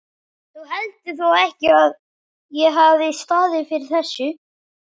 Þú heldur þó ekki, að ég hafi staðið fyrir þessu?